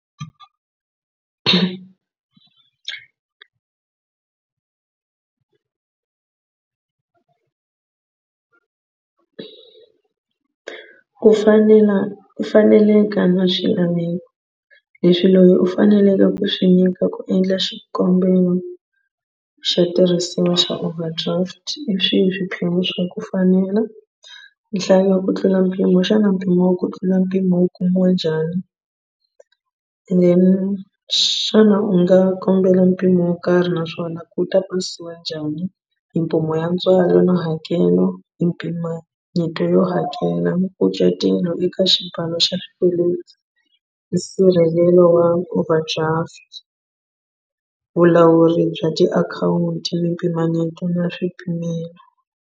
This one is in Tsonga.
Ku fanela ku faneleka na swilaveko leswi leyi u faneleke ku swi nyika ku endla xikombelo xa tirhisiwa xa overdraft i swihi swiphemu swa ku fanela nhlayo ya ku tlula mpimo xana mpimo wa ku tlula mpimo wu kumiwe njhani and then xana u nga kombela mpimo wo karhi naswona ku ta pasiya njhani mimpimo ya ntswalo na hakelo mimpimanyeto yo hakela eka xibalo xa swikweleti nsirhelelo wa overdraft vulawuri bya tiakhawunti mimpimanyeto na swipimelo.